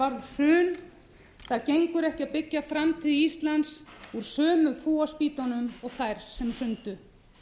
var hrun það gengur ekki að byggja framtíð íslands úr sömu kúaskítunum og þær sem hrundu